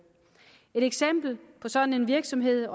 et eksempel på sådan en virksomhed